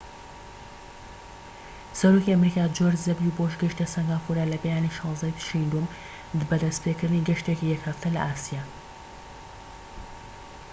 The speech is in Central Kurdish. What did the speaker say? سەرۆکی ئەمریکا جۆرج دەبلیو بۆش گەیشتە سەنگافورە لە بەیانی 16ی تشرینی دووەم بە دەستپێکردنی گەشتێکی یەک هەفتە لە ئاسیا